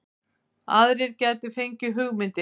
Aðrir gætu fengið hugmyndir